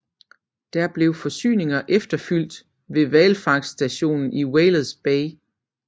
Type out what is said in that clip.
Der blev forsyninger efterfylt ved hvalfangststationen i Whalers Bay